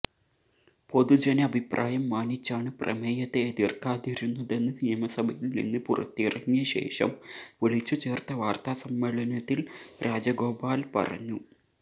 പൊതുജന അഭിപ്രായം മാനിച്ചാണ് പ്രമേയത്തെ എതിര്ക്കാതിരുന്നതെന്ന് നിയമസഭയില് നിന്ന് പുറത്തിറങ്ങിയ ശേഷം വിളിച്ചുചേര്ത്ത വാര്ത്താസമ്മേളനത്തില് രാജഗോപാല് പറഞ്ഞു